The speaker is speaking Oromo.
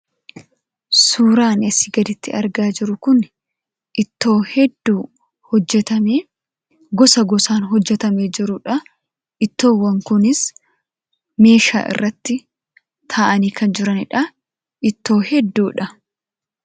Suuraan asii gaditti argaa jirru kun ittoo hedduu hojjetamee gosa gosaan hojjetamee jirudha. Ittoowwan kunis meeshaa irratti taa'anii kan jiranidha. Ittoo hedduudha.